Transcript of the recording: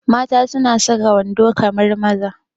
Mata suna saka wando kamar maza